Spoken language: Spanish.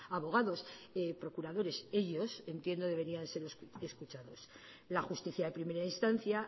abogados procuradores ellos entiendo debería ser escuchados la justicia de primera instancia